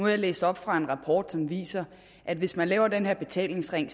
jeg læst op fra en rapport som viser at hvis man laver den her betalingsring